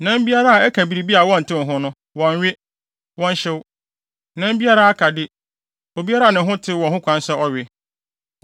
“ ‘Nam biara a ɛka biribi a wɔntew ho no, wɔnnwe; wɔnhyew. Nam biara a aka de, obiara a ne ho tew wɔ ho kwan sɛ ɔwe.